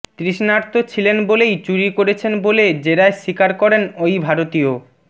তৃষ্ণার্ত ছিলেন বলেই চুরি করেছেন বলে জেরায় স্বীকার করেন ওই ভারতীয়